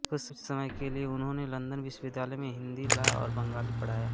कुछ समय के लिए उन्होंने लंदन विश्वविद्यालय में हिंदू लॉ और बंगाली पढ़ाया